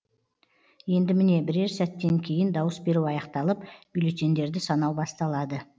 енді міне бірер сәттен кейін дауыс беру аяқталып бюллетендерді санау басталады